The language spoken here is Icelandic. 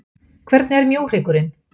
Hvernig er mjóhryggurinn?